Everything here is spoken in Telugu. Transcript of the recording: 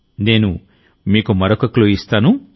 నేను మీకు మరొక క్లూ ఇస్తాను